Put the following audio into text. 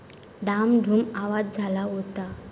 डाम धूम आवाज झाला होता.